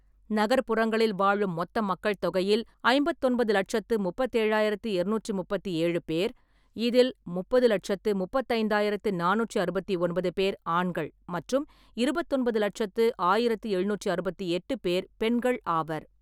நகர்ப்புறங்களில் வாழும் மொத்த மக்கள் தொகையில் ஐம்பத்தொன்பது லெட்சத்து முப்பத்தி ஏழாயிரத்தி எரநூற்றி முப்பத்தி ஏழு பேர், இதில் முப்பது லெட்சத்து முப்பத்தைந்தாயிரத்து நானூற்றி அறுபத்தி ஒன்பது பேர் ஆண்கள் மற்றும் இருபத்தொன்பது லட்சத்து ஆயிரத்தி எழுநூற்றி அறுபத்தி எட்டு பேர் பெண்கள் ஆவர்.